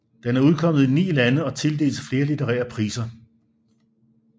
Den er udkommet i ni lande og tildeltes flere litterære priser